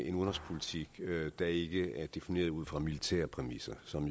en udenrigspolitik der ikke er defineret ud fra militære præmisser som